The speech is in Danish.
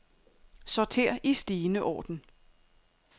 Sorter i stigende orden.